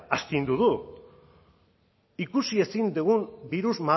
astindu du ikusi ezin dugun birus